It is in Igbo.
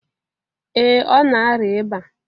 Ee ọ na-arịa ịba